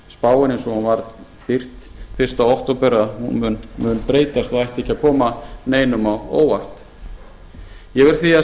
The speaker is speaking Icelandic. efnahagsspáin eins og hún var birt fyrsta október mun breytast og ætti ekki að koma neinum á óvart ég verð því að